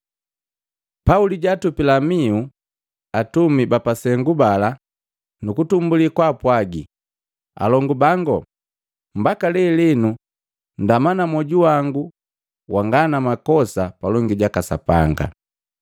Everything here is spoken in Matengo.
Pauli jaatupila mihu atumi bapasengu bala nukutumbuli kapwaji, “Alongu bango, mbaka lelenu ndama na mwoju wango wanga na makosa palongi jaka Sapanga.”